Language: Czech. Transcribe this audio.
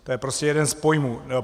To je prostě jeden z pojmů.